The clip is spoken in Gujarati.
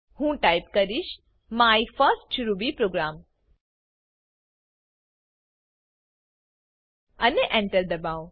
હું ટાઈપ કરીશ માય ફર્સ્ટ રૂબી પ્રોગ્રામ અને Enter દબાઓ